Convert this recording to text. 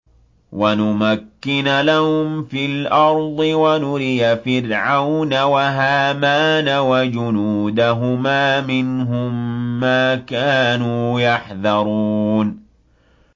وَنُمَكِّنَ لَهُمْ فِي الْأَرْضِ وَنُرِيَ فِرْعَوْنَ وَهَامَانَ وَجُنُودَهُمَا مِنْهُم مَّا كَانُوا يَحْذَرُونَ